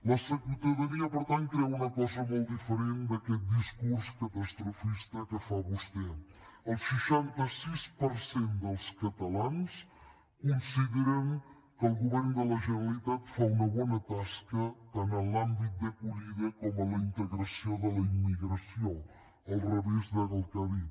la ciutadania per tant creu una cosa molt diferent d’aquest discurs catastrofista que fa vostè el seixanta sis per cent dels catalans consideren que el govern de la generalitat fa una bona tasca tant en l’àmbit d’acollida com en la integració de la immigració al revés del que ha dit